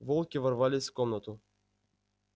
волки ворвались в комнату